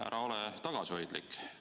Ära ole tagasihoidlik.